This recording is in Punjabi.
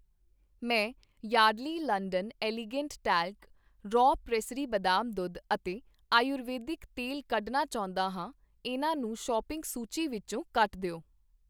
ਮੈਂ Yardley London elegant talc, raw pressery ਬਦਾਮ ਦੁੱਧ ਅਤੇ ਆਯੁਰਵੈਦਿਕ ਤੇਲ ਕੱਢਣਾ ਚਾਹੁੰਦਾ ਹਾਂ, ਇਹਨਾਂ ਨੂੰ ਸੌਪਿੰਗ ਸੂਚੀ ਵਿੱਚੋ ਕੱਟ ਦਿਓ